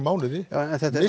mánuði en þetta er